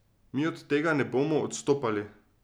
Mi od tega ne bomo odstopali.